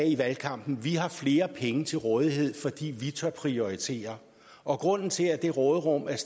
i valgkampen vi har flere penge til rådighed fordi vi tør prioritere og grunden til at råderummet er